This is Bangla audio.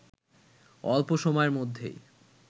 অল্প সময়ের মধ্যেই